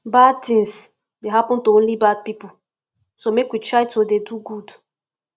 bad things dey happen to only bad people so make we try to dey do good